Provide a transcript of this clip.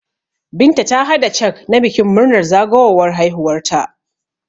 Binta ta hada cak na bikin murnar zagawowar haihuwar ta